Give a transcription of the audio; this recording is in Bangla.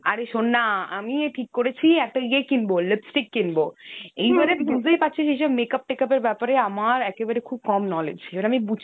আরে শোন না আমি ঠিক করেছি একটা ইয়ে কিনবো lipstick কিনব। বুঝতেই পারছিস এইসব মেকআপ টেকাপ এর ব্যাপারে আমার একেবারে খুব কম knowledge। এইবারে